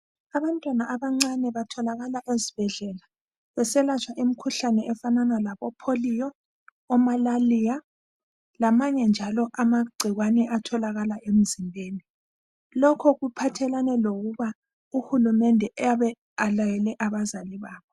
Abantwana abancane batholakala ezibhedlela beselatshwa imikhuhlane efanana labo pholiyo, omalaliya lamanye njalo amagcikwane atholakala emzimbeni, lokhu kuphathelane lokuba uhulumende eyabe elayele abazali babo.